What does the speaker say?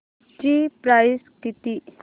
ची प्राइस किती